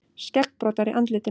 Skeggbroddar í andlitinu.